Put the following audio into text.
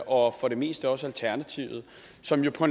og for det meste også alternativet som jo